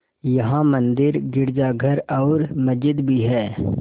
यहाँ मंदिर गिरजाघर और मस्जिद भी हैं